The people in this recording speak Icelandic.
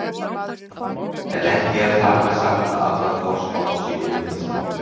En ekki er þar með sagt að allar forspár séu vitleysa.